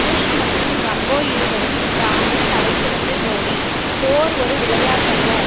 push மற்றும் Rambo இருவரும் இந்த ஆண்டின் தலைசிறந்த ஜோடி போர் ஒரு விளையாட்டல்ல